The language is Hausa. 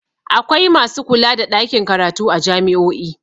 Akwai masu kula da ɗakin karatu a jami'o'i.